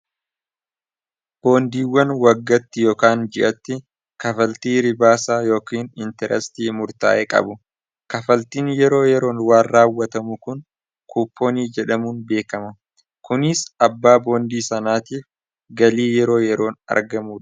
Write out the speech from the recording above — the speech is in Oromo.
boondiiwwan waggatti ykan ji'atti kafaltii ribaasaa yookin intirestii murtaa'e qabu kafaltiin yeroo yeroon waan raawwatamu kun kupoonii jedhamuun beekama kuniis abbaa boondii sanaatiif galii yeroo yeroon argamu